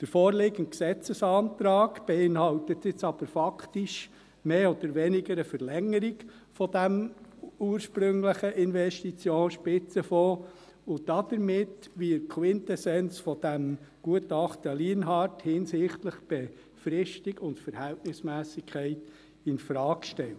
Der vorliegende Gesetzesantrag beinhaltet nun aber faktisch mehr oder weniger eine Verlängerung dieses ursprünglichen Investitionsspitzenfonds, und damit wird die Quintessenz dieses Gutachtens Lienhard hinsichtlich Befristung und Verhältnismässigkeit infrage gestellt.